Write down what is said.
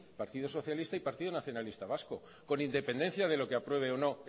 partido socialista y partido nacionalista vasco con independencia de lo que apruebe o no